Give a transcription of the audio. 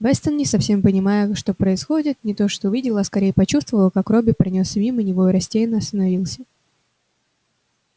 вестон не совсем понимая что происходит не то что увидел а скорее почувствовал как робби пронёсся мимо него и растерянно остановился